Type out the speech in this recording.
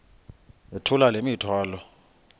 yithula le mithwalo